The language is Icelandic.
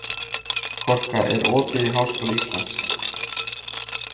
Korka, er opið í Háskóla Íslands?